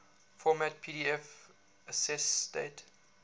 format pdf accessdate